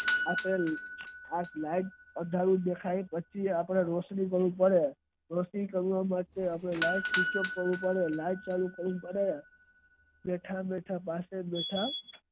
અપડે light આગલી દેખાય એટલું અપડે સરખું દેખાવા માટે અપડે light ચાલુ કરવી પડે